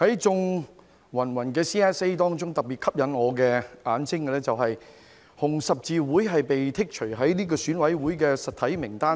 在芸芸 CSA 中特別吸引我眼睛的是香港紅十字會被剔除選舉委員會的實體名單外。